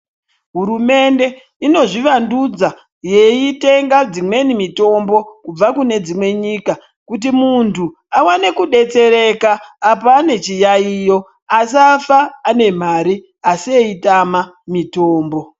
Hurumende inozvivandudza yeitenga dzimweni mitombo kubva kune dzimwe nyika. Kuti muntu aone kudetsereka apa ane chiyaiyo asafa ane mari asi eitama mitombo.